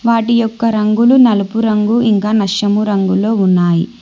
వాటి యొక్క రంగులు నలుపు రంగు ఇంకా నషము రంగులో ఉన్నాయి.